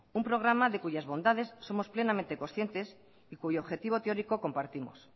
un programa de cuyas bondades somos plenamente conscientes y cuyo objetivo teórico compartimos